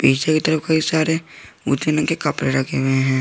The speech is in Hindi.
पीछे की तरफ कई सारे मोती रंग के कपड़े रखे हुए हैं।